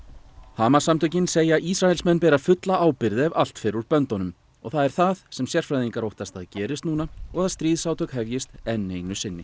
Hamas samtökin segja Ísraelsmenn bera fulla ábyrgð ef allt fer úr böndunum og það er það sem sérfræðingar óttast að gerist núna og að stríðsátök hefjist enn einu sinni